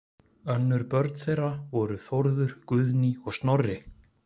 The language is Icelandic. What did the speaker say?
Önnur börn þeirra voru Þórður, Guðný og Snorri.